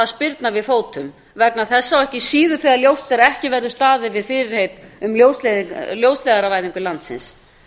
spyrna við fótum vegna þessa og ekki síður þegar ljóst er að ekki verður staðið við fyrirheit um ljósleiðaravæðingu landsins